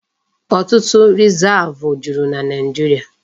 Ọtụtụ Rizavụ juru na Naijiria.